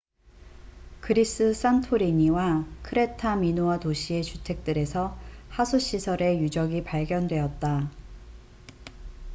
그리스 산토리니와 크레타 미노아 도시의 주택들에서 하수시설의 유적이 발견되었다